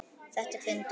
Þetta er fyndið.